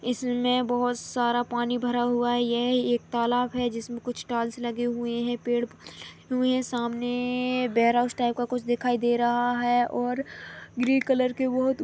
इसमे बहोत सारा पानी भरा हुआ है यह एक तलाब है जिसमे कुछ टाइल्स लगे हुए है पेड पौधे लगे हुए है सामने बेयर हाउस टाइप का कुछ दिखाई दे रहा है और ग्रीन कलर के बहोत--